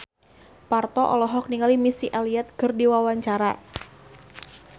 Parto olohok ningali Missy Elliott keur diwawancara